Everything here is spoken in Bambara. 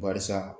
Barisa